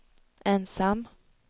ensam